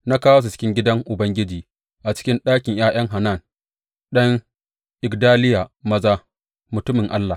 Na kawo su cikin gidan Ubangiji, a cikin ɗakin ’ya’yan Hanan ɗan Igdaliya maza mutumin Allah.